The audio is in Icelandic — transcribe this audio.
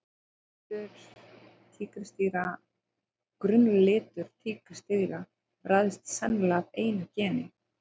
Grunnlitur tígrisdýra ræðst sennilega af einu geni.